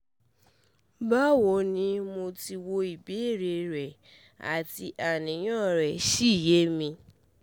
Bawoni, mo ti wo ibeere re ati aniyan re si ye mi